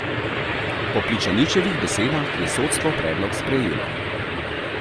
Po Pličaničevih besedah je sodstvo predlog sprejelo.